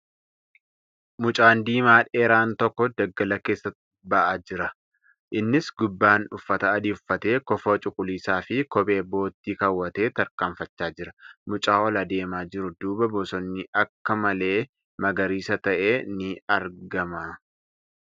Mucaan diimaa dheeraan tokko daggala keessaa ba'aa jira. Innis gubbaan uffata adii uffatee kofoo cuquliisa fi kophee boottii keewwatee tarkaanfachaa jira. Mucaa ol deemaa jiru duuba bosonni akka malee magariisa ta'e ni argama.